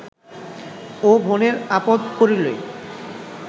ও বোনের আপদ্ পড়িলে